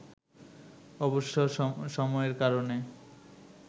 অবশ্য সময়ের কারণে